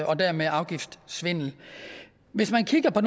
og dermed afgiftssvindel hvis man kigger på